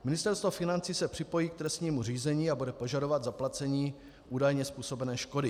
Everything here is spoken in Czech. Ministerstvo financí se připojí k trestnímu řízení a bude požadovat zaplacení údajně způsobené škody.